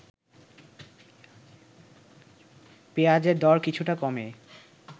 পেঁয়াজের দর কিছুটা কমে